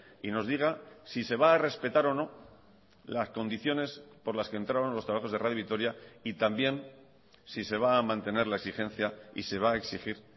y nos diga si se va a respetar o no las condiciones por las que entraron los trabajos de radio vitoria y también si se va a mantener la exigencia y se va a exigir